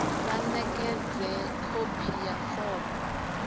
vha ṋekedze khophi ya fomo